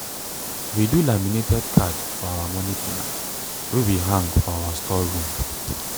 we do laminated card for our moni plan wey we hang for our store room.